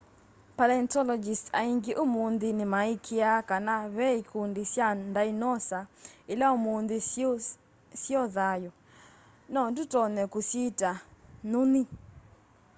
palaentologists aĩngĩ ũmũnthĩ nĩmaĩĩkĩa kana ve ĩkũndĩ sya ndaĩnosa ĩla ũmũnthĩ syĩo thayũ no tũtonye kũsyita nyũnyĩ